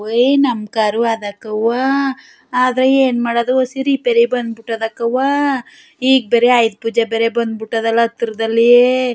ಏಯ್ ನಮ್ಮ್ ಕಾರು ಆದಾತವ್ವ ಆದರೆ ಏನು ಮಾಡೋದು ಸಿರಿ ಬೇರೆ ಬಂದ್ ಬಿಟ್ಟದಕ್ಕವ್ವ ಈಗ ಬೇರೆ ಆಯುದ್ ಪೂಜೆ ಬೇರೆ ಬಂದ್ ಬಿಟ್ಟದಲ್ಲ ಹತ್ರದಲ್ಲಿ.